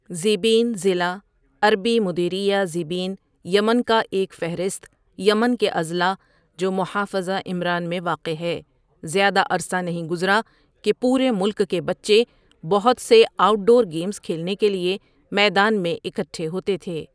ذیبین ضلع عربی مديرية ذيبين یمن کا ایک فہرست یمن کے اضلاع جو محافظہ عمران میں واقع ہے زیادہ عرصہ نہیں گزرا کہ پورے ملک کے بچے بہت سے آؤٹ ڈور گیمز کھیلنے کے لیے میدان میں اکٹھے ہوتے تھے۔